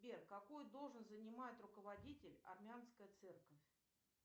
сбер какую должность занимает руководитель армянская церковь